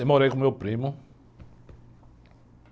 Eu morei com o meu primo.